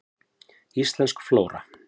Íslensk flóra.